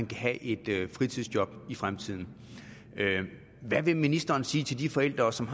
kan have et fritidsjob i fremtiden hvad vil ministeren sige til de forældre som